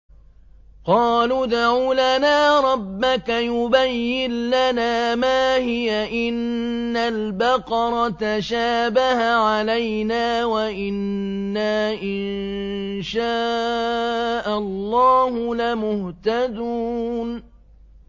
قَالُوا ادْعُ لَنَا رَبَّكَ يُبَيِّن لَّنَا مَا هِيَ إِنَّ الْبَقَرَ تَشَابَهَ عَلَيْنَا وَإِنَّا إِن شَاءَ اللَّهُ لَمُهْتَدُونَ